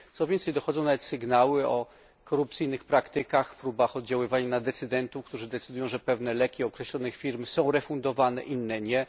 Co więcej, dochodzą nawet sygnały o korupcyjnych praktykach, próbach oddziaływań na decydentów, którzy decydują, że pewne leki określonych firm są refundowane, inne nie.